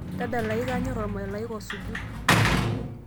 tadalayu kaanyor ormalaika osuju